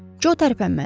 Jo tərpənmədi.